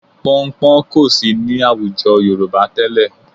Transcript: Pọnnpọ́n kò sí ní àwùjọ Yorùbá tẹ́lẹ̀